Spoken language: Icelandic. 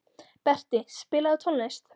Berti, spilaðu tónlist.